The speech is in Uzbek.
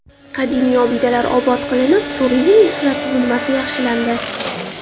Qadimiy obidalar obod qilinib, turizm infratuzilmasi yaxshilandi.